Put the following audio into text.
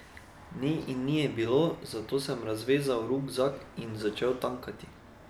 Ni in ni je bilo, zato sem razvezal rukzak in začel tankati.